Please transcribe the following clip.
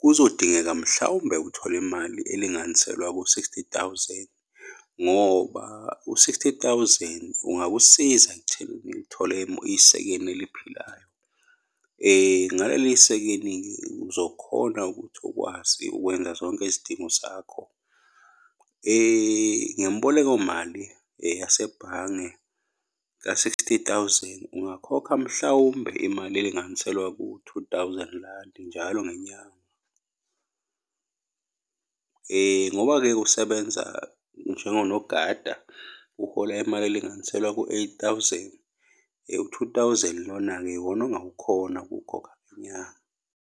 kuzodingeka mhlawumbe uthole imali elinganiselwa ku-sixty thousand, ngoba u-sixty thousand ungakusiza ekutheni uthole isekeni eliphilayo. Ngaleli sekeni, uzokhona ukuthi ukwazi ukwenza zonke izidingo zakho. Ngemboleko mali yasebhange ka-sixty thousand, ungakhokha mhlawumbe imali elinganiselwa ku-two thousand landi njalo ngenyanga, ngoba-ke usebenza njengonogada, uhola imali elinganiselwa ku-eight thousand, u-two thousand lona-ke iwona ongawukhona ukukhokha ngenyanga.